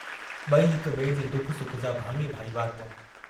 बई हिक बिए जे दुख सुख जा भाङे भाईवार हुआ।